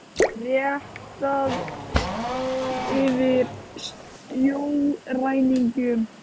Réttað yfir sjóræningjum